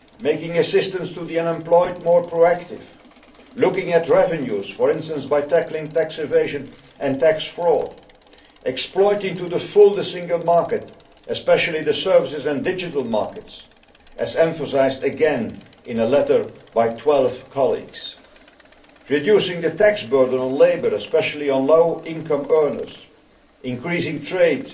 Making assistance to the unemployed more pro active. Looking at revenues, for instance by tackling tax evasion and tax fraud. Exploiting to the full the single market, especially the services and digital markets, as emphasised again in a letter by 12 colleagues. Reducing the tax burden on labour, especially on low income earners. Increasing trade.